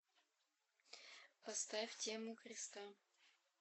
поставь тему креста